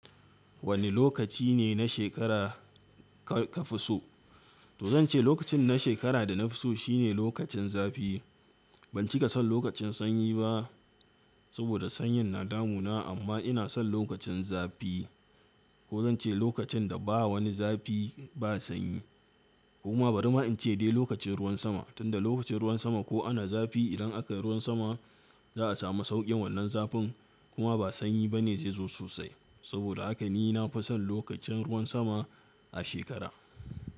Wane lokaci ne na shekara ka fi so? To zan ce lokacin na shekara da na fi so shine lokacin zafi. Ban cika son lokacin sanyi ba saboda sanyin na damuna amma ina son lokacin zafi ko zan ce lokacin da ba wani zafi ba sanyi. Kuma bari ma in ce dai lokacin ruwan sama tunda lokacin ruwan sama ko ana zafi idan aka yi ruwan sama za a samu sauƙin wannan zafin kuma ba sanyi ba ne zai zo sosai. Saboda haka ni na fi son lokacin ruwan sama a shekara.